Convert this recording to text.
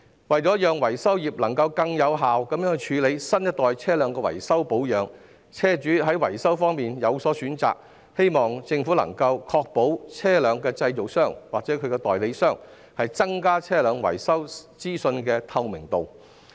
為了讓維修業能更有效處理新一代車輛的維修保養，以及讓車主在維修方面有所選擇，我希望政府能確保車輛製造商或其代理商會增加車輛維修資訊的透明度。